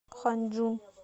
ханьчжун